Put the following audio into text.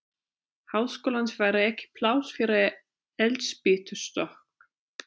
Háskólans væri ekki pláss fyrir eldspýtustokk!